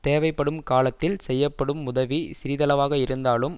தேவைப்படும் காலத்தில் செய்யப்படும் உதவி சிறிதளவாக இருந்தாலும்